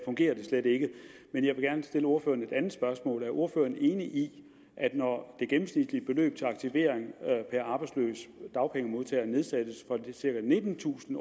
fungerer det slet ikke men jeg vil gerne stille ordføreren et andet spørgsmål er ordføreren enig i at når det gennemsnitlige beløb til aktivering per arbejdsløs dagpengemodtager nedsættes fra cirka nittentusind